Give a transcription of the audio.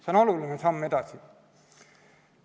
See on oluline samm edasi.